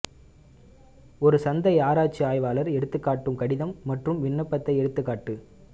ஒரு சந்தை ஆராய்ச்சி ஆய்வாளர் எடுத்துக்காட்டு கடிதம் மற்றும் விண்ணப்பத்தை எடுத்துக்காட்டு